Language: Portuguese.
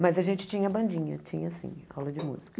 Mas a gente tinha bandinha, tinha sim, aula de música.